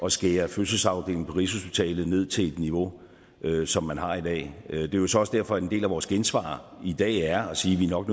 at skære fødselsafdelingen på rigshospitalet ned til et niveau som man har i dag er jo så også derfor at en del af vores gensvar i dag er at sige at vi nok